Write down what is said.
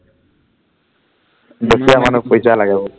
দুখীয়া মানুহ পইচা লাগে বহুত